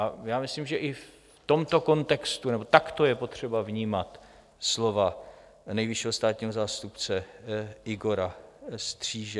A já myslím, že i v tomto kontextu nebo takto je potřeba vnímat slova nejvyššího státního zástupce Igora Stříže.